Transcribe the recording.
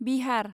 Bihar